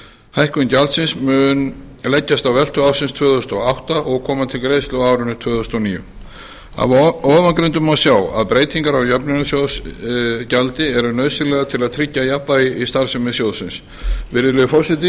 hækkun gjaldsins mun leggjast á veltu ársins tvö þúsund og átta og koma til greiðslu á árinu tvö þúsund og níu af ofangreindu má sjá að breytingar á jöfnunarsjóðsgjaldi eru nauðsynlegar til að tryggja jafnvægi í starfsemi sjóðsins virðulegi forseti